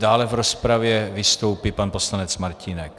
Dále v rozpravě vystoupí pan poslanec Martínek.